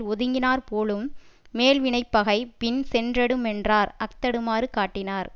ஒதுங்கினாற் போலும் மேல் வினைப்பகை பின் சென்றடுமென்றார் அஃதடுமாறு காட்டினார்